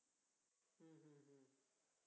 हम्म